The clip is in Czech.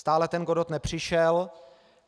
Stále ten Godot nepřišel.